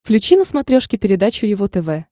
включи на смотрешке передачу его тв